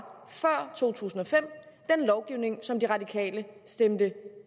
før to tusind og fem den lovgivning som de radikale stemte